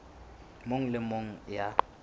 mong le e mong ya